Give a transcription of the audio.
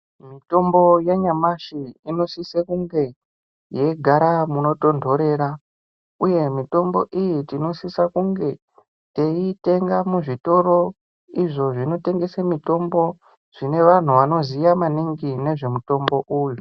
Mutombo wanyamashi unosisa kunge weigara munotondorera uye mitombo iyi tinosisa kunge teitenga muzvitoro izvo zvinotengeswa mitombo zvine vanhu vane mitombo iyi.